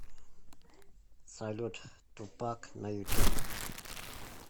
салют тупак на ютуб